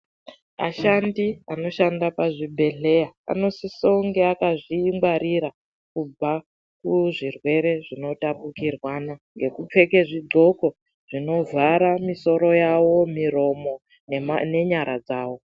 Ashandi anoshanda pazvibhendleya anosisa unge akazvingwarira kubva kuzvirwere zvinotapukirwana. Ngekupfeka zvigloko zvinovhara misoro yawo, miromo nenyara dzavo.